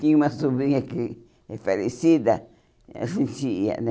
Tinha uma sobrinha que é falecida, a gente ia, né?